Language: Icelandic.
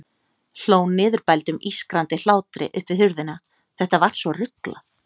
Hló niðurbældum, ískrandi hlátri upp við hurðina, þetta var svo ruglað.